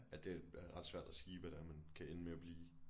At det er ret svært at sige hvad det er man kan ende med at blive